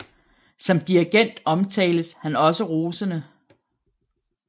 Som dirigent omtales han også rosende